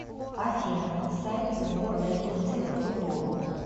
афина сайт сборная турции по футболу